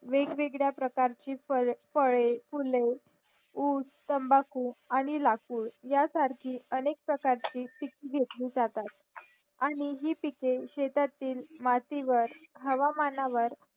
वेगवेगळ्या प्रकारची फळं फळे फुले ऊस तंबाकू आणि लाकूड या सारखी आनेक प्रकारची पिके घेतली जातात आणि हे पिके शेतातील माती वर हवामानावर